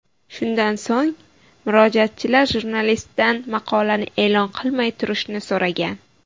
Shundan so‘ng, murojaatchilar jurnalistdan maqolani e’lon qilmay turishni so‘ragan.